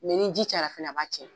ni ji cayara fɛnɛ a b'a tiɲɛ